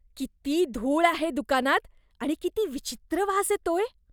किती धूळ आहे दुकानात आणि किती विचित्र वास येतोय.